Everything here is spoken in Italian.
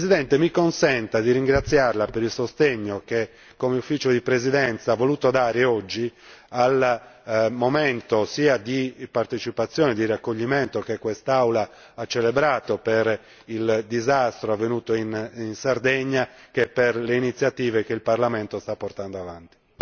Signora Presidente, mi consenta di ringraziarla per il sostegno che come Ufficio di presidenza ha voluto dare oggi al momento sia di partecipazione e di raccoglimento che quest'Aula ha celebrato per il disastro avvenuto in Sardegna che per le iniziative che il Parlamento sta portando avanti.